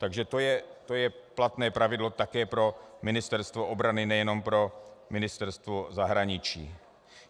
Takže to je platné pravidlo také pro Ministerstvo obrany, nejenom pro Ministerstvo zahraničí.